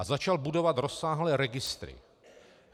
A začal budovat rozsáhlé registry.